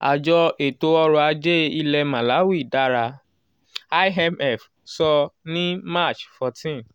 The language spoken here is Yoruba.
"àjọ ètò ọrọ̀ ajé ilẹ̀ màláwì dára" imf sọ ní march fourteen